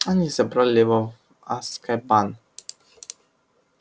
они забрали его в азкабан